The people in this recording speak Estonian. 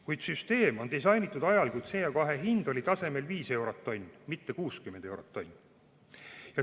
Kuid süsteem on disainitud ajal, kui CO2 hind oli tasemel viis eurot tonn, mitte 60 eurot tonn.